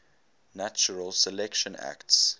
natural selection acts